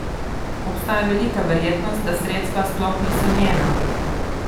Obstaja velika verjetnost, da sredstva sploh niso njena.